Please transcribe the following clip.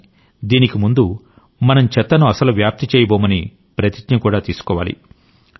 కానీ దీనికి ముందు మనం చెత్తను అస్సలు వ్యాప్తి చేయబోమని ప్రతిజ్ఞ కూడా తీసుకోవాలి